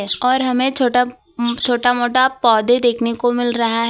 और हमें छोटा छोटा मोटा पौधे देखने को मिल रहा है।